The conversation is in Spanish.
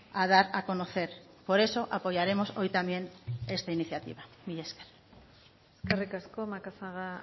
a dar a conocer por eso apoyaremos hoy también esta iniciativa mila esker eskerrik asko macazaga